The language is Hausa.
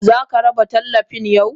Zaka raba tallafin yau?